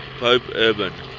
pope urban